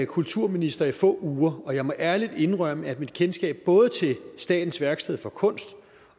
kulturminister i få uger og jeg må ærligt indrømme at mit kendskab både til statens værksteder for kunst